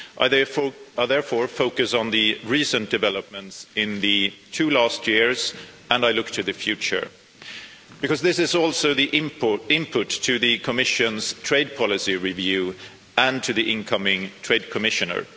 I therefore focus on the recent developments in the two last years and I look to the future, because this is also the input to the Commission's trade policy review and to the incoming Trade Commissioner.